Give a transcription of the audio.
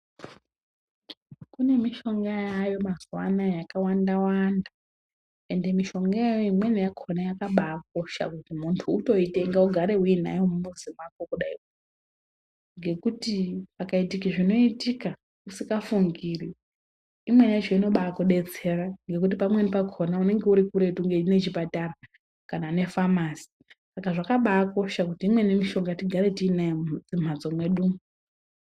Kune mishonga yaayo mazuwanaya yakawanda wanda ende mishonga iyoyo imweni yakona yakabakosha kuti muntu utoitenga ugare uinayo mumuzi mako kudai ngekuti pakaitike zvinoitika usingafingiri imweni yacho inodetsera ngekuti pamweni pakona unenge urikuretu nechipatara kana nefamasi, saka zvakabakosha kuti imweni mishonga tigare tinayo mumhatso mwedumwo.